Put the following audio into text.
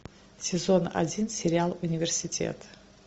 сезон один сериал университет